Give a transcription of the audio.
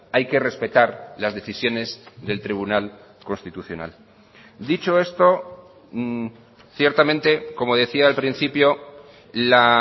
hay que respetar las decisiones del tribunal constitucional dicho esto ciertamente como decía al principio la